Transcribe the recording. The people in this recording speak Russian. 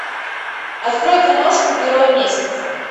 открой киношку герой месяца